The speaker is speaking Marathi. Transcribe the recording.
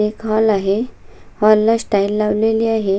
एक हॉल आहे हॉल ला स्टाईल लावलेली आहे.